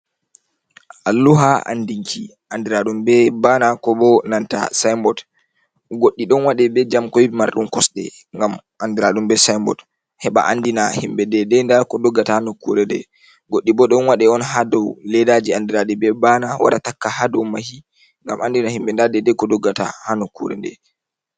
Alluha andinki andiraɗum be bana ko bo nanta sin bot, goɗɗi ɗon waɗe be jamkoy marɗum kosde ngam andiraɗum be sinbot heɓa andina himɓɓe dede da ko doggata ha nokkure de goɗɗi bo ɗon waɗe on ha dou ledaji andiraɗi be bana wara takka ha dow mahi gam andina himɓɓe nda deide ko doggata ha nokkure nde.